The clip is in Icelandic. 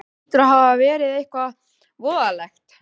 Það hlýtur bara að hafa verið eitthvað voðalegt.